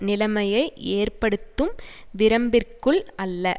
நிலைமையை ஏற்படுத்தும் விரம்பிற்குள் அல்ல